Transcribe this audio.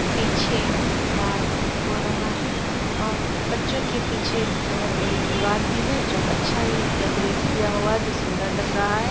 पीछे डांस हो रहा है और बच्चों के पीछे एक बहोत बड़ी दीवार भी है जो अच्छा ही डेकोरेट किया हुआ है जो सुन्दर लग रहा है।